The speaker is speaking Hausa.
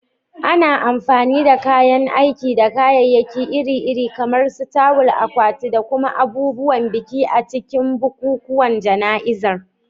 Ana amfani da kayan aiki da kayayyaki iri-iri, kamar tawul, akwatuna, da kuma abubuwan biki, a cikin bukukuwan jana'izar.